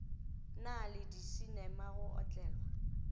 na le disinema go otlelwa